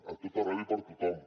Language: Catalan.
a tot arreu i per a tothom